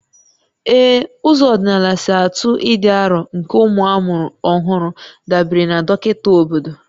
Ee, ụzọ ọdịnala si atụ ịdị arọ nke ụmụ amụrụ ọhụrụ dabere na dọkịta obodo